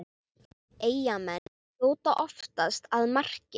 Eyjamenn skjóta oftast að marki